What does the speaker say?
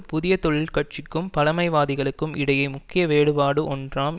புதிய தொழிற்கட்சிக்கும் பழைமைவாதிகளுக்கும் இடையே முக்கிய வேறுபாடு ஒன்றாம்